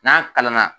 N'a kalan na